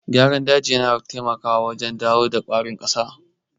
Gyaran daji yana taimakawa wajen dawo da ƙwarin ƙasa.